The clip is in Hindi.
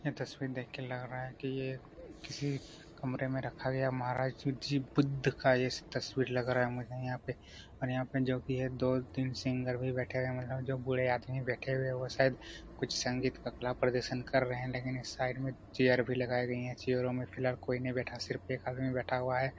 ये तस्वीर देख के लग रहा है की ये किसी कमरे में रखा गया महराज शिव जी बुद्ध का तस्वीर लग रहा है। मुझे यहाँ पे और यहाँ पर जो की दो तीन सिंगर भी है। बैठे हुए जो बूढ़े आदमी बैठे हुए है जो शायद कुछ संगीत का कला प्रदर्शन कर रहे है। लेकिन इस साइड में चेयर भी लगाई गई है। चेयरो में फ़िलहाल कोई नहीं बैठा है सिर्फ एक आदमी बैठा हुआ है।